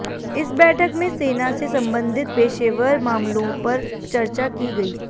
इस बैठक में सेना से संबंधित पेशेवर मामलों पर चर्चा की गयी